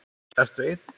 Ertu ein?